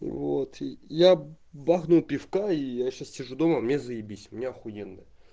вот я бахнул пивка и я сейчас сижу дома мне заебись мне ахуенно